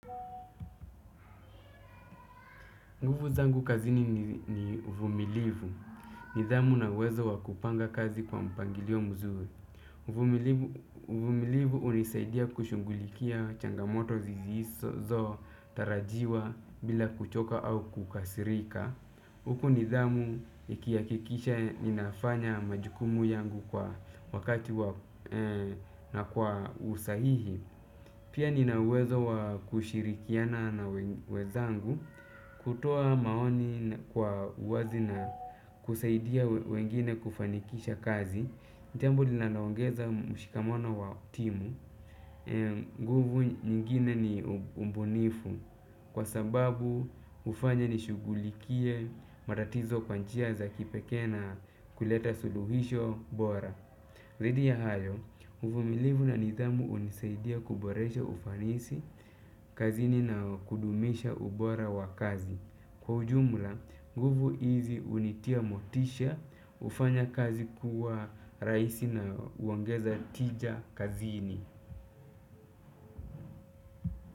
Nguvu zangu kazini ni uvumilivu. Nidhamu na uwezo wa kupanga kazi kwa mpangilio mzuri. Uvumilivu hunisaidia kushughulikia changamoto zisizotarajiwa bila kuchoka au kukasirika. Huku nidhamu ikihakikisha ninafanya majukumu yangu kwa wakati na kwa usahihi. Pia ninauwezo wa kushirikiana na wenzangu kutoa maoni kwa wazi na kusaidia wengine kufanikisha kazi jambo linaloongeza mshikamano wa timu. Nguvu nyingine ni ubunifu, kwasababu hufanya nishughulikie matatizo kwa njia za kipekee na kuleta suluhisho bora dhidi ya hayo, uvumilivu na nidhamu hunisaidia kuboresha ufanisi kazini na kudumisha ubora wa kazi. Kwa ujumla, nguvu hizi hunitia motisha, hufanya kazi kuwa rahisi na huongeza tija kazini.